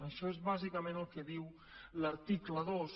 això és bàsicament el que diu l’article dos